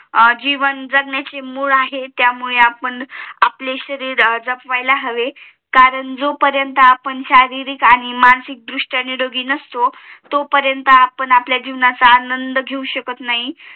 जीवन जगण्याचे मूळ आहे म्हणून आपण पाले शरीर जपवायला हवे कारण जोपरेंतआपण शारीरिक आणि मानसिक दृष्ट्या निरोगी नसतो तो पर्यन्त आपण आपापल्या जीवनाचा आनंद घेऊ शकत नाही